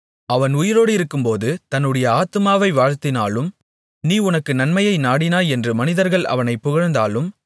அவன் உயிரோடிருக்கும்போது தன்னுடைய ஆத்துமாவை வாழ்த்தினாலும் நீ உனக்கு நன்மையை நாடினாய் என்று மனிதர்கள் அவனைப் புகழ்ந்தாலும்